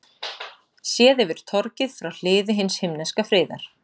Séð yfir torgið frá Hliði hins himneska friðar.